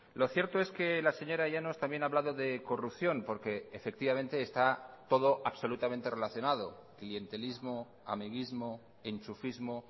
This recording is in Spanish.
lo cierto es que la señora llanos también ha hablado de corrupción porque efectivamente esta todo absolutamente relacionado clientelismo amiguismo enchufismo